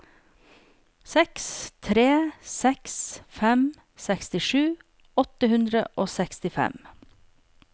seks tre seks fem sekstisju åtte hundre og sekstifem